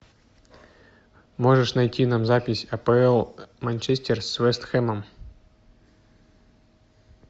можешь найти нам запись апл манчестер с вестхэмом